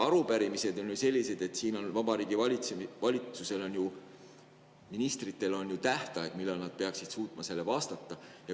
Arupärimiste puhul on Vabariigi Valitsuse ministritel tähtaeg, millal nad peaksid suutma vastata.